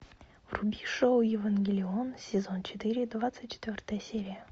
вруби шоу евангелион сезон четыре двадцать четвертая серия